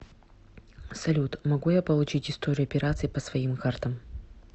салют могу я получить историю операций по своим картам